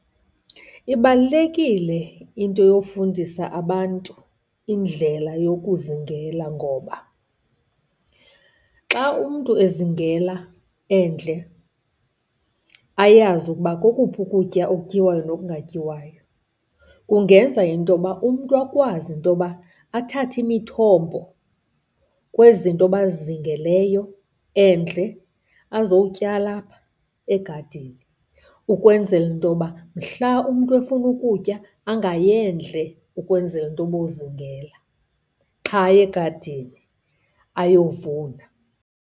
Ibalulekile into yofundisa abantu indlela yokuzingela ngoba xa umntu izingela endle, ayazi ukuba kokuphi ukutya okutyiwayo nokungatyiwayo. Kungenza intoba umntu akwazi intoba athathe imithombo kwezi zinto bazizingeleyo endle azowutyala apha egadini. Ukwenzela intoba, mhla umntu efuna ukutya angayi endle ukwenzela intoba ayozingela. Qha aye egadini, ayovuna.